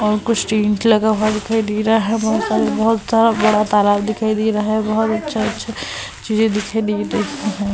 और कुछ टेंट लगा हुआ दिखाई दे रहा है। बहोत सारे बहोत सारा बड़ा तालाब दिखाई दे रहा है। बहोत अच्छा-अच्छा चीजें दिखाई दे रही हैं।